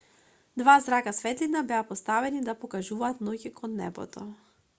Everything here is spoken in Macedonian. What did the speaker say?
два зрака светлина беа поставени да покажуваат ноќе кон небото